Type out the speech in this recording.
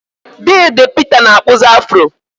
Deede Peter na-akpụzi Afro.